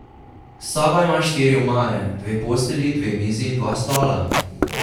Soba ima štiri omare, dve postelji, dve mizi in dva stola.